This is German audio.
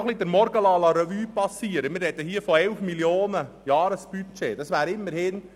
Wenn ich den Morgen nochmals Revue passieren lasse, sprechen wir hier von einem Jahresbudget von 11 Mio. Franken.